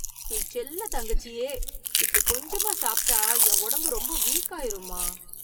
என் செல்ல தங்கச்சியே, இப்படி கொஞ்சமா சாப்பிட்டா என் உடம்பு ரொம்ப வீக் ஆயிரும்மா.